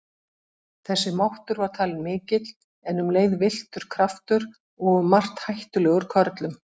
Þessi máttur var talinn mikill en um leið villtur kraftur og um margt hættulegur körlum.